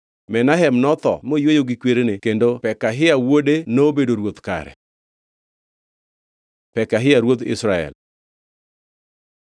Menahem notho moyweyo gi kwerene kendo Pekahia wuode nobedo ruoth kare. Pekahia ruodh Israel